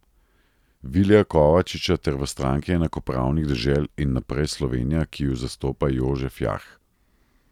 Vilija Kovačiča ter v Stranki enakopravnih dežel in Naprej Slovenija, ki ju zastopa Jožef Jarh.